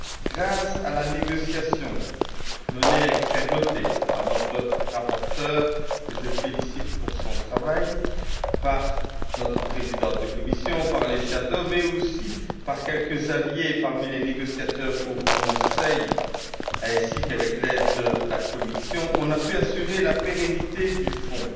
Grâce à la négociation menée avec fermeté par notre rapporteure que je félicite pour son travail par notre présidente de commission, par les rapporteurs fictifs, mais aussi par quelques alliés parmi les négociateurs au Conseil, ainsi qu'avec l'aide de la Commission, on a pu assurer la pérennité du Fonds,